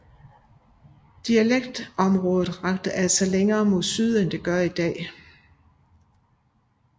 Dialekktområdet rakte altså længere mod syd end det gør i dag